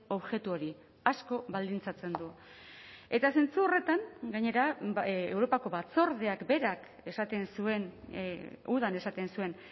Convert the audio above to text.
objektu hori asko baldintzatzen du eta zentzu horretan gainera europako batzordeak berak esaten zuen udan esaten zuen